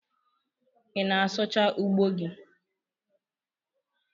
Ị na-asụchaa ugbo gi?